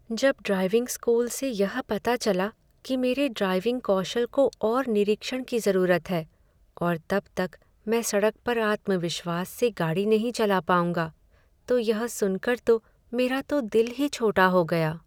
जब driving school से यह पता चला कि मेरे ड्राइविंग कौशल को और निरीक्षण की ज़रूरत है और तब तक मैं सड़क पर आत्मविश्वास से गाड़ी नहीं चला पाऊंगा, तो यह सुन कर तो मेरा तो दिल ही छोटा हो गया।